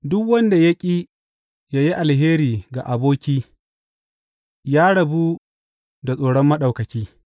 Duk wanda ya ƙi yă yi alheri ga aboki ya rabu ta tsoron Maɗaukaki.